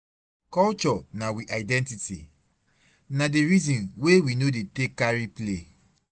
Culture na we identity na di resin wey we no dey take carry play.